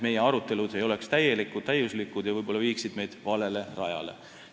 Meie arutelud ei oleks täiuslikud ja võib-olla viiksid meid valele rajale.